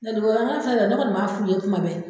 Nka dugalamɔgɔw filɛ yan, ne kɔni de b'a fɔ u ye kuma bɛ.